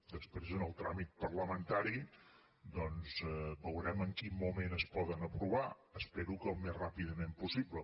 després en el tràmit parlamentari doncs veurem en quin moment es poden aprovar espero que al més ràpidament possible